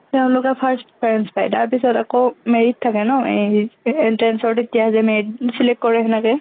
তেওঁলোকে first preference পায়, তাৰ পিছত আকৌ merit থাকে ন এই যে entrance ৰ তেতিয়া যে merit select কৰে এনেকে।